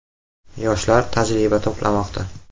Yoshlar tajriba to‘plamoqda.